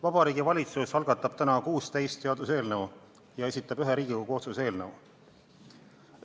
Vabariigi Valitsus algatab täna 16 seaduseelnõu ja esitab ühe Riigikogu otsuse eelnõu.